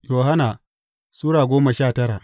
Yohanna Sura goma sha tara